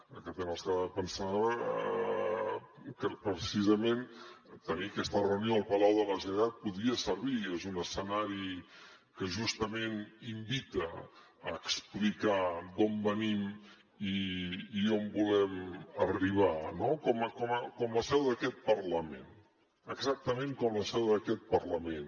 aquesta setmana pensava que precisament tenir aquesta reunió al palau de la generalitat podia servir és un escenari que justament invita a explicar d’on venim i on volem arribar no com la seu d’aquest parlament exactament com la seu d’aquest parlament